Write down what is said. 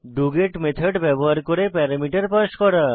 doGet method ব্যবহার করে parameter pass করা